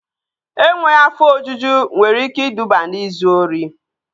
Enweghị afọ ojuju nwere ike iduba n'izu ori